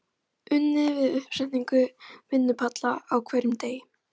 Unnið við uppsetningu vinnupalla á hverjum degi.